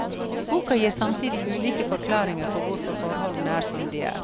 Boka gir samtidig ulike forklaringer på hvorfor forholdene er som de er.